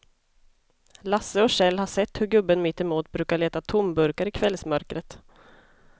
Lasse och Kjell har sett hur gubben mittemot brukar leta tomburkar i kvällsmörkret.